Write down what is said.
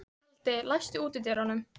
Kaldi, læstu útidyrunum.